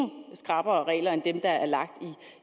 skrappere regler end dem der er lagt